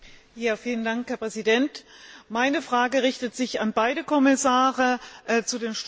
Meine Frage richtet sich an beide Kommissare zu den Strukturfonds und zum ESF.